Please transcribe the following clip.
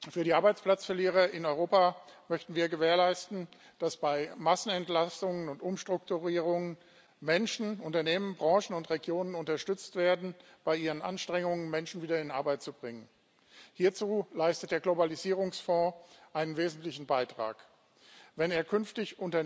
Für die Arbeitsplatzverlierer in Europa möchten wir gewährleisten, dass bei Massenentlassungen und Umstrukturierungen Menschen, Unternehmen, Branchen und Regionen unterstützt werden bei ihren Anstrengungen, Menschen wieder in Arbeit zu bringen. Hierzu leistet der Globalisierungsfonds einen wesentlichen Beitrag, wenn er künftig